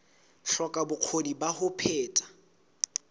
hloka bokgoni ba ho phetha